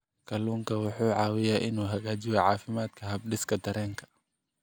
Kalluunku wuxuu caawiyaa inuu hagaajiyo caafimaadka habdhiska dareenka.